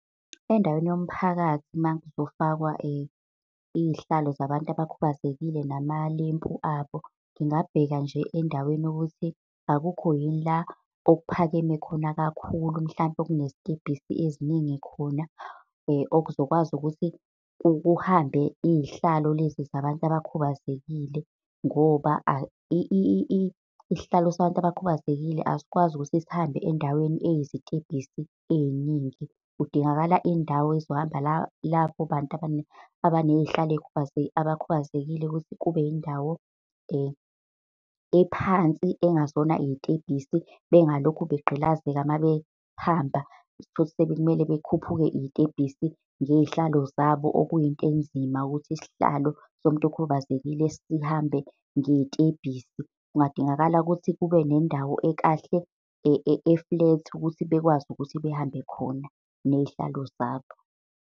Endaweni yomphakathi uma kuzofakwa iy'hlalo zabantu abakhubazekile nama lempu abo, ngingabheka nje endaweni ukuthi akukho yini la okuphakeme khona kakhulu, mhlampe okunezitebhisi eziningi khona okuzokwazi ukuthi kuhambe iy'hlalo lezi zabantu abakhubazekile. Ngoba isihlalo sabantu abakhubazekile asikwazi ukuthi sihambe endaweni eyizitebhisi ey'ningi. Kudingakala indawo ezohamba labo bantu abaneyhlalo abakhubazekile ukuthi kube yindawo ephansi engazona iy'tebhisi bengalokhu begqilazeka mabehamba. Uthole ukuthi sekumele bekhuphuke iy'tebhisi ngeyihlalo zabo, okuyinto enzima ukuthi isihlalo somuntu okhubazekile sihambe ngey'tebhisi. Kungadingakala ukuthi kube nendawo ekahle e-flat, ukuthi bekwazi ukuthi behambe khona ney'hlalo zabo.